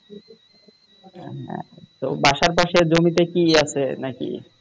তো বাসার পাশে জমিতে কি আছে নাকি